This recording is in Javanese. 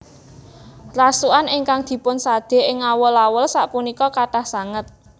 Rasukan ingkang dipun sade ing awul awul sapunika kathah sanget